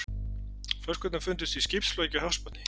Flöskurnar fundust í skipsflaki á hafsbotni